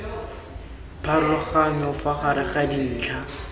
pharologanyo fa gare ga dintlha